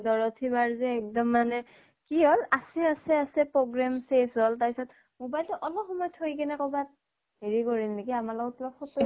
দৰথী বা যে এক্দম মানে কি হল আছে আছে আছে program শেষ হল তাৰ পিছত mobile টো অলপ সময় থৈ পিনে কবাত হেৰি কৰিল নেকি, আমাৰ লগত কিবা photo